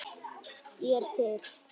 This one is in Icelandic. Ég er til.